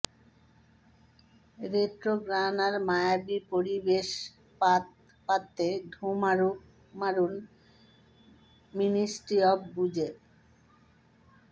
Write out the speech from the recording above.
retro গান আর মায়াবী পরিবেশ পাত পাড়তে ঢুঁ মারুন মিনিস্ট্রি অফ বুজে